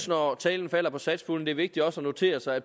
når talen falder på satspuljen er vigtigt også at notere sig at